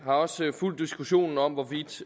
har også fulgt diskussionen om hvorvidt